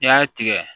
N'i y'a tigɛ